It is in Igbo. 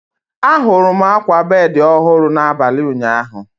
Ahụrụ m akwa bedi ọhụrụ n'abalị ụnyaahụ.